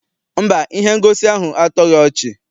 Mba, ihe ngosi ahụ atọghi ọchị.